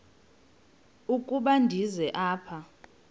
ukuba ndize apha